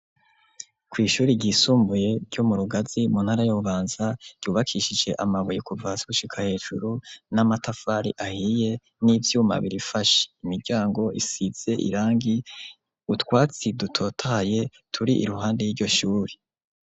Kw'ishuri ryisumbuye ryo mu Rugazi mu ntara ya Bubanza ryubakishije amabuye kuva hasi gushika hejuru n'amatafari ahiye n'ivyuma birifashe, imiryango isize irangi utwatsi dutotaye turi iruhande ry'iryoshuri.